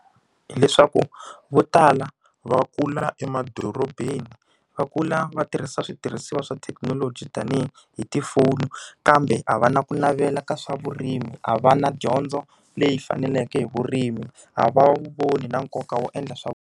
Hi leswaku vo tala va kula emadorobeni. Va kula va tirhisa switirhisiwa swa thekinoloji tanihi hi tifoni. Kambe a va na ku navela ka swa vurimi, a va na dyondzo leyi faneleke hi vurimi, a va wu voni nkoka wo endla swa.